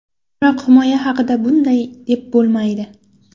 Biroq himoya haqida bunday deb bo‘lmaydi.